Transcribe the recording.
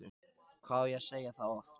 Hvað á ég að segja það oft?!